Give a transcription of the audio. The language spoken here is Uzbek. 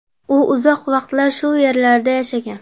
U uzoq vaqtlar shu yerlarda yashagan.